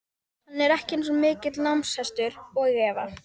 Hann er ekki eins mikill námshestur og Eva.